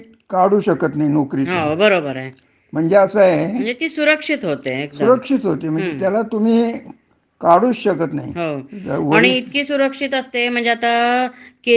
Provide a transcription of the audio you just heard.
केंद्रीयसरकारच्या नोकरीमध्ये तर सगळ्या प्रकारच्या ह्या मिळतात, म्हणजे अस सुविधा ज्या असतात त्या इतक्या मिळतात शाळा मिळते, त्यांना कुठे काय बाकीचे खेळायला क्लब असतो,